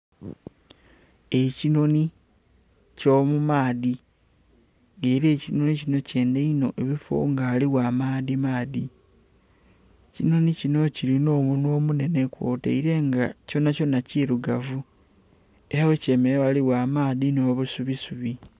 Ekinhoni ekyo mumaadhi era ekinhoni kino kyendha inho ebifoo nga ghaligho amaadhi maadhi, ekinhoni kino kiri n'omunhwa omunhenhe kw'otaire nga kyonhakyonha kirugavu era ghe kyemeraire ghaligho amaadhi n'obusubi subi.